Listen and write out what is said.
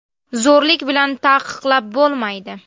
Zo‘rlik bilan taqiqlab bo‘lmaydi.